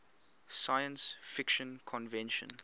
science fiction convention